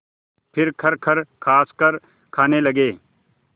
फिर खरखर खाँसकर खाने लगे